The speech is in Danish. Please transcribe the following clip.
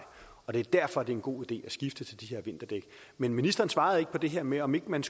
og det er derfor det er en god idé at skifte til de her vinterdæk men ministeren svarede ikke på det her med om ikke man